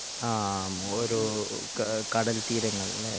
ആഹ് ഒരു കടൽ തീരങ്ങൾ അല്ലെ